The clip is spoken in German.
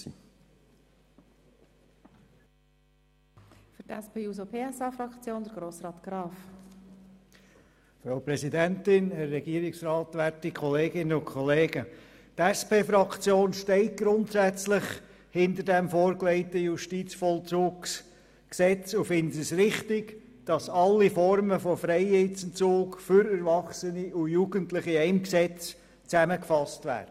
Die SP-JUSO-PSA-Fraktion steht grundsätzlich hinter dem vorgelegten Justizvollzugsgesetz und findet es richtig, dass alle Formen von Freiheitsentzug für Erwachsene und für Jugendliche in einem Gesetz zusammengefasst werden.